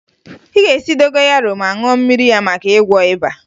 Ị ga-esi dogoyaro ma ṅụọ mmiri ya maka ịgwọ ịba